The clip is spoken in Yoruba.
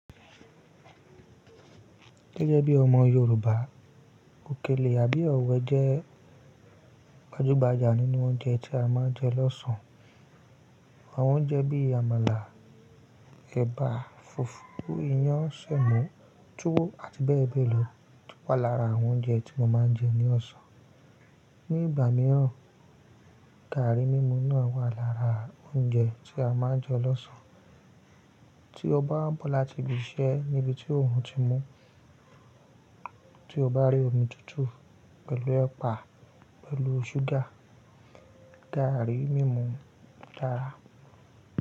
Gẹ́gẹ́ bí ọmọ Yorùbá, òkèlè àbí ọ̀wẹ̀ jẹ́ gbajúgbajà nínú oúnjẹ tí a máa ń jẹ lọ́sàn-án. Àwọn oúnjẹ bí Àmàlà, ẹ̀bà, fùfú, iyán, sẹ̀mọ́, túwó àti bẹ́ẹ̀ bẹ́ẹ̀ lọ wà lára àwọn oúnjẹ tí mo máa ń jẹ ní ọ̀sán. Ni ìgbà mìíràn, gààrí mímu náà wà lára oúnjẹ tí a máa ń jẹ lọ́sàn-án. Tí o bá wa n bọ̀ láti bí i ṣe níbi tí òrun ti mú, tí o bá rí omi tútù pẹ̀lú ẹ̀pà pẹ̀lú ṣúgà, gààrí mímu dára.